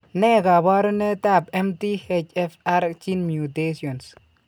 Ne kaabarunetap MTHFR gene mutations?